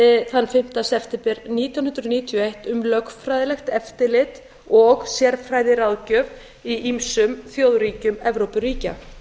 þann fimmta september nítján hundruð níutíu og eitt um lögfræðilegt eftirlit og sérfræðiráðgjöf í ýmsum þjóðþingum evrópuríkja